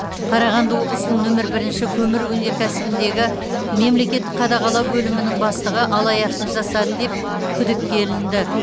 қарағанды облысының нөмір бірінші көмір өнеркәсібіндегі мемлекеттік қадағалау бөлімінің бастығы алаяқтық жасады деп күдікке ілінді